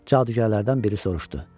Cadugərlərdən biri soruşdu: